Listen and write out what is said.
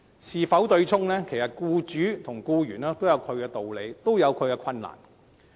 因此，對沖與否，僱主和僱員均有其道理，亦各有其困難。